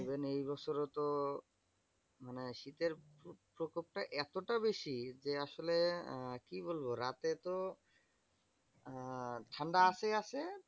Even এই বছরে তো মানে শীতের প্রকপটা এতটা বেশি যে, আসলে আহ কি বলবো? রাতে তো আহ ঠান্ডা আসে আসে